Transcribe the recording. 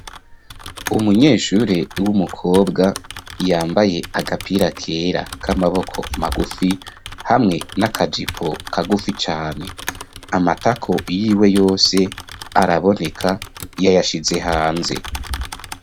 Umunyeshure w'umukobwa yambaye agapira kera k'amaboko magufi hamwe n'akajipo kagufi cane, amatako yiwe yose araboneka, yayashize hanze.